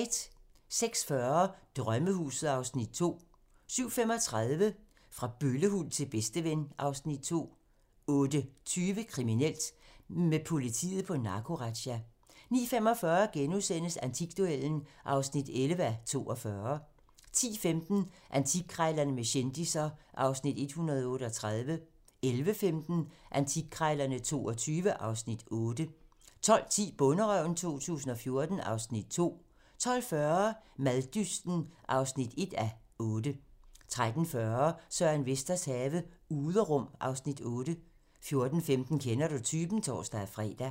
06:40: Drømmehuset (Afs. 2) 07:35: Fra bøllehund til bedsteven (Afs. 2) 08:20: Kriminelt: Med politiet på narkorazzia * 09:45: Antikduellen (11:42)* 10:15: Antikkrejlerne med kendisser (Afs. 138) 11:15: Antikkrejlerne XXII (Afs. 8) 12:10: Bonderøven 2014 (Afs. 2) 12:40: Maddysten (1:8) 13:40: Søren Vesters have - Uderum (Afs. 8) 14:15: Kender du typen? (tor-fre)